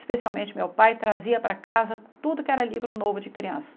Especialmente, meu pai trazia para casa tudo que era livro novo de criança.